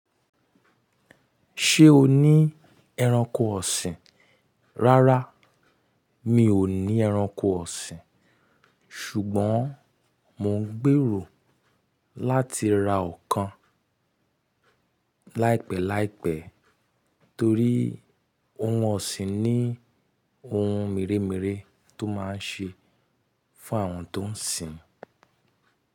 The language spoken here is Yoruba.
Ṣé o ní ẹranko ọ̀sìn? Rárá, mi ò ní ẹranko ọ̀sìn. Ṣùgbọ́n mò ń gbèrò láti ra ọ̀kan láìpẹ́láìpẹ́ torí ohùn ọ̀sìn ní ohùn mèremère tó máa ń ṣe fún àwọn tó ń sìn.